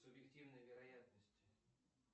субъективной вероятности